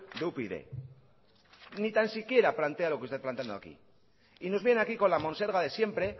de upyd ni tan siquiera plantea lo que está planteando aquí y nos viene aquí con la monserga de siempre